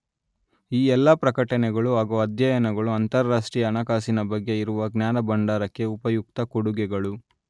ಈ ಎಲ್ಲಾ ಪ್ರಕಟಣೆಗಳು ಹಾಗೂ ಅಧ್ಯಯನಗಳು ಅಂತಾರಾಷ್ಟ್ರೀಯ ಹಣಕಾಸಿನ ಬಗ್ಗೆ ಇರುವ ಜ್ಞಾನಭಂಡಾರಕ್ಕೆ ಉಪಯುಕ್ತ ಕೊಡುಗೆಗಳು